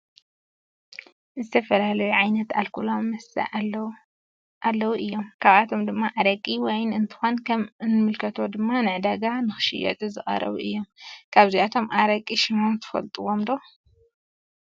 ዝተፈላለዩ ዓይነት አልኮላዊ መስተ አለዎ እዩም ካብአቶም ድማ አረቂ ፤ዋይን እንትኮን ከም እንምልከቶ ድማ ንዕዳጋ ንክሽየጡ ዝቀረቡ እዩም። ካብዞም አረቂ ሽሞም ትፈልጥዎም ዶ?